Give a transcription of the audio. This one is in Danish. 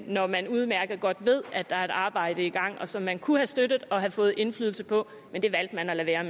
når man udmærket godt ved at der er et arbejde i gang som man kunne have støttet og have fået indflydelse på men det valgte man at lade være